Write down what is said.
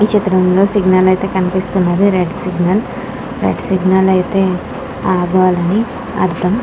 ఈ చిత్రంలో సిగ్నల్ అయితే కనిపిస్తున్నది. రీడ్ సిగ్నల్ రెడ్ సిగ్నల్ అయితే ఆగలని అర్థం.